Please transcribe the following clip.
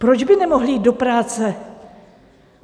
Proč by nemohly jít do práce?